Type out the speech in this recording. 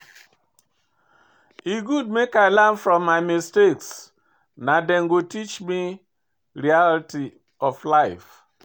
E good make I dey learn from my mistakes, na dem go teach me reality of life.